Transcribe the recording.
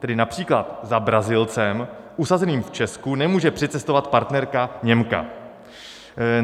Tedy například za Brazilcem usazeným v Česku nemůže přicestovat partnerka Němka.